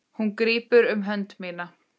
Hún grípur um hönd mína.